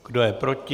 Kdo je proti?